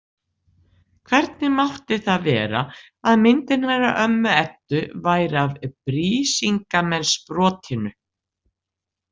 Hvernig mátti það vera að myndin hennar ömmu Eddu væri af Brísingamensbrotinu?